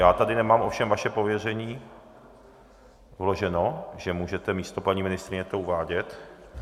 Já tady nemám ovšem vaše pověření vloženo, že můžete místo paní ministryně to uvádět.